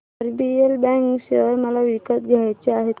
RBL bank share मला विकत घ्यायचे आहेत